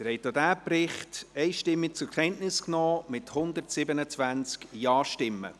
Sie haben auch diesen Bericht einstimmig zur Kenntnis genommen, mit 127 Ja-Stimmen.